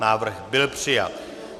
Návrh byl přijat.